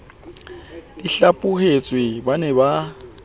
di hlaphohetsweng ba ne ba